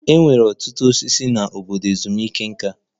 E nwere ọtụtụ osisi n'obodo ezumike nká.